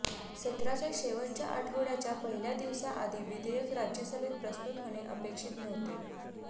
सत्राच्या शेवटच्या आठवड्याच्या पहिल्या दिवसआधी विधेयक राज्यसभेत प्रस्तुत होणे अपेक्षित नव्हते